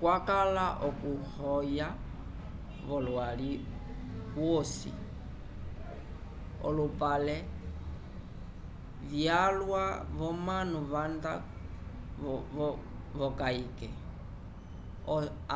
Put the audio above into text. cwakala okuhoya volwali usi olopapelo vyalwa vomanu vanda vokayke